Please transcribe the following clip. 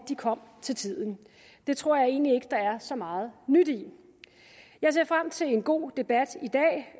de kom til tiden det tror jeg egentlig ikke der er så meget nyt i jeg ser frem til en god debat i dag